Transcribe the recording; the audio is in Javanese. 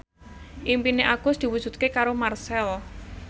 impine Agus diwujudke karo Marchell